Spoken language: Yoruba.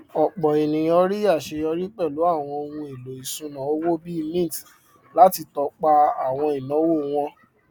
ọpọ ènìyàn rí aṣeyọrí pẹlú àwọn ohun èlò iṣuna owó bíi mint láti tọpa àwọn ináwó wọn